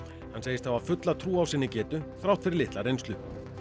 hann segist hafa fulla trú á sinni getur þrátt fyrir litla reynslu